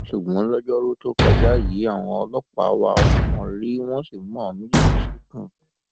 ṣùgbọn lojoruu tó kọjá yìí àwọn ọlọpàá wá wọn rí wọn sì mú àwọn méjèèjì ṣìnkún